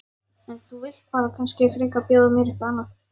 En þú vilt kannski frekar bjóða mér eitthvað annað?